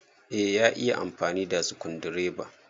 Eh, ya iya amfani da sukundireba.